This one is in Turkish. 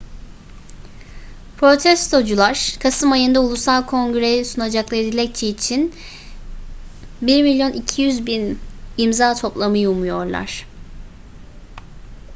protestocular kasım ayında ulusal kongre'ye sunacakları dilekçe için 1,2 milyon imza toplamayı umuyorlar